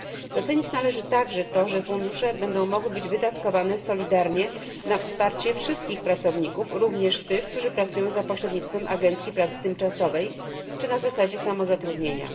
Docenić należy także to, że fundusze będą mogły być wydatkowane solidarnie na wsparcie wszystkich pracowników, również tych, którzy pracują za pośrednictwem agencji pracy tymczasowej czy na zasadzie samozatrudnienia.